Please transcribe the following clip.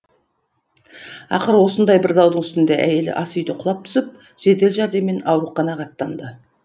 ақыры осыңдай бір даудың үстінде әйелі ас үйде құлап түсіп жедел жәрдеммен ауруханаға аттанды